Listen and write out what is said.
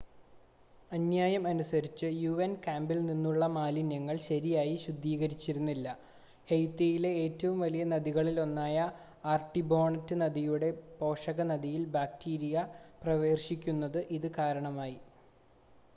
അന്യായം അനുസരിച്ച് യുഎൻ ക്യാമ്പിൽ നിന്നുള്ള മാലിന്യങ്ങൾ ശരിയായി ശുദ്ധീകരിച്ചിരുന്നില്ല ഹെയ്ത്തിയിലെ ഏറ്റവും വലിയ നദികളിൽ ഒന്നായ ആർട്ടിബോണറ്റ് നദിയുടെ പോഷക നദിയിൽ ബാക്ടീരിയ പ്രവേശിക്കുന്നതിന് ഇത് കാരണമായി